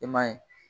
I m'a ye